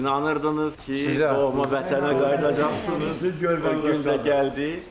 İnanırdınız ki, doğma vətənə qayıdacqsınız, o gün də gəldi.